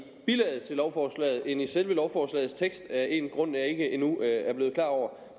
bilaget til lovforslaget end i selve lovforslagets tekst af en grund jeg endnu ikke er blevet klar over